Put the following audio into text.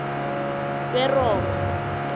beroma